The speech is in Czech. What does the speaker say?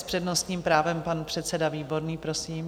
S přednostním právem pan předseda Výborný, prosím.